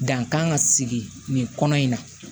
Dan kan ka sigi nin kɔnɔ in na